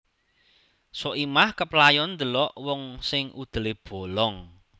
Soimah keplayon ndelok wong sing udele bolong